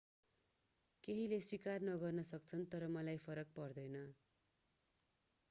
केहीले स्वीकार नगर्न सक्छन् तर मलाई फरक पर्दैन